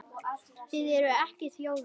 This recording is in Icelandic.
Þið eruð ekki þjóðin!